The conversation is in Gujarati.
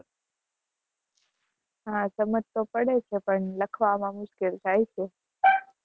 હા, સમાજ તો પડે છે. પણ લખવા માં મુશ્કેલ થાય છે.